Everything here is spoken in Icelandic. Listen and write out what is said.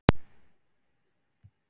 Nei, sagði Össur, það er ekki satt.